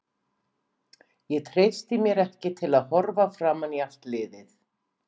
Ég treysti mér ekki til að horfa framan í allt liðið.